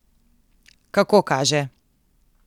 Kako kaže.